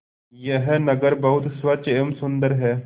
यह नगर बहुत स्वच्छ एवं सुंदर है